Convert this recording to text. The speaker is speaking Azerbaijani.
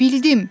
Bildim!